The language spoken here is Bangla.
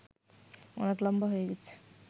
অনেক লম্বা হয়ে গেছে